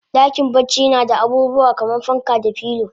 Dakin bacci nada abubuwa kaman fanka da filo